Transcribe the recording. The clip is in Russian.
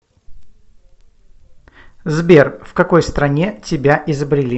сбер в какой стране тебя изобрели